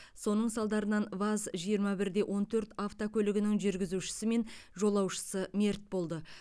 соның салдарынан ваз жиырма бір де он төрт автокөлігінің жүргізушісі мен жолаушысы мерт болды